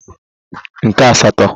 nke asatọ